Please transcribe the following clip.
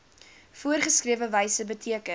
voorgeskrewe wyse beteken